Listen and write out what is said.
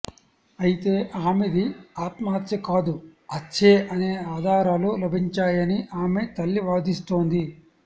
అయితే ఆమెది ఆత్మహత్య కాదు హత్యే అనే ఆధారాలు లభించాయని ఆమె తల్లి వాదిస్తోంది